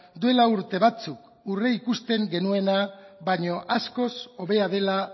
duela urte batzuk aurreikusten genuena baino askoz hobea dela